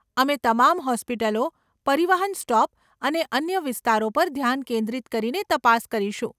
અમે તમામ હોસ્પિટલો, પરિવહન સ્ટોપ અને અન્ય વિસ્તારો પર ધ્યાન કેન્દ્રિત કરીને તપાસ કરીશું.